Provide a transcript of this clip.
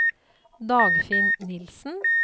Dagfinn Nielsen